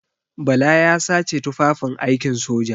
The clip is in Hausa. Bala ya sace tufafin aikin soja.